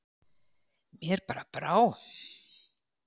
Mér bara brá.